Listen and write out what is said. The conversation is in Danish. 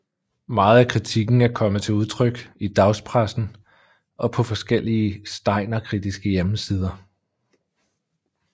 Meget af kritikken er kommet til udtryk i dagspressen og på forskellige steinerkritiske hjemmesider